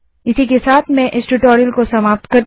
इसी के साथ मैं इस ट्यूटोरियल को समाप्त करती हूँ